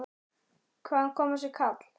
Hvaðan kom þessi kall?